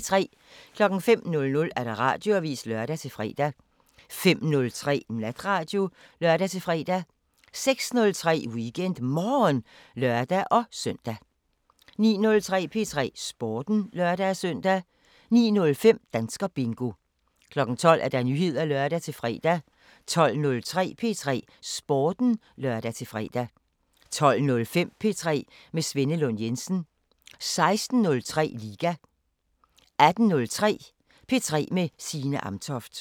05:00: Radioavisen (lør-fre) 05:03: Natradio (lør-fre) 06:03: WeekendMorgen (lør-søn) 09:03: P3 Sporten (lør-søn) 09:05: Danskerbingo 12:00: Nyheder (lør-fre) 12:03: P3 Sporten (lør-fre) 12:05: P3 med Svenne Lund Jensen 16:03: Liga 18:03: P3 med Signe Amtoft